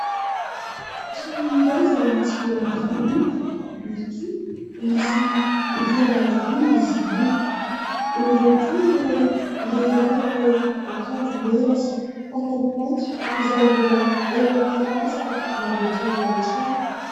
Trano iray izay tsy mbola vita loko, ary koa misy rihana roa izy io. Eo ihany koa ilay lehilahy manao akanjo mena sy pataloha mainty izay mbola eo am-perinasa mamboatra ilay trano.